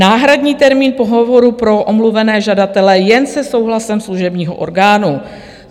Náhradní termín pohovoru pro omluvené žadatele jen se souhlasem služebního orgánu.